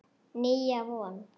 Nýja von.